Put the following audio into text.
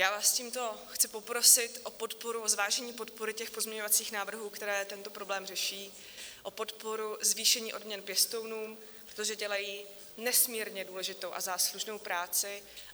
Já vás tímto chci poprosit o podporu, o zvážení podpory těch pozměňovacích návrhů, které tento problém řeší, o podporu zvýšení odměn pěstounům, protože dělají nesmírně důležitou a záslužnou práci.